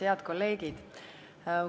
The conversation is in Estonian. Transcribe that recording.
Head kolleegid!